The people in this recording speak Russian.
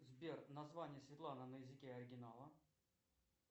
сбер название седла на языке оригинала